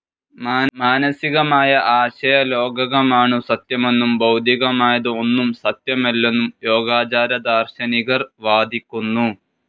മാനസികമായ ആശയലോകകമാണു സത്യമെന്നും ഭൗതികമായത് ഒന്നും സത്യമല്ലെന്നും യോഗാചാരദാർ‍ശനികർ വാദിക്കുന്നു.